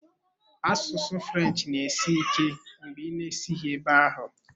Asụsụ French na-esi ike mgbe ị na-esighị ebe ahụ.